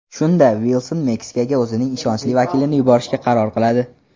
Shunda Vilson Meksikaga o‘zining ishonchli vakilini yuborishga qaror qiladi.